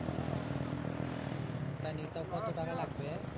ও তাই নাকি তা কত টাকা লাগবে